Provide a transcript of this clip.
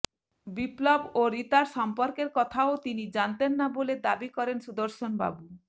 বিপ্লব ও রীতার সম্পর্কের কথাও তিনি জানতেন না বলে দাবি করেন সুদর্শনবাবু